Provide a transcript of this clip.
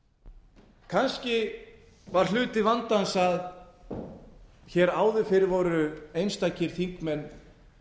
þingræði kannski var hluti vandans að áður fyrr voru einstakir þingmenn